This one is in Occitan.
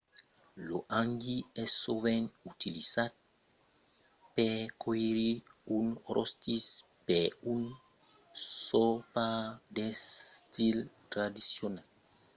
lo hangi es sovent utilizat per còire un rostit per un sopar d'estil tradicional